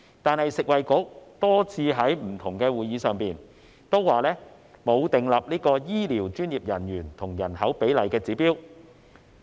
但是，食物及衞生局多次在不同會議上也表示，沒有訂立醫療專業人員與人口比例的指標。